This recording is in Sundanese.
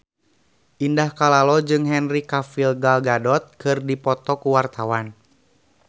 Indah Kalalo jeung Henry Cavill Gal Gadot keur dipoto ku wartawan